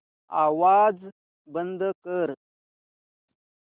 आवाज बंद कर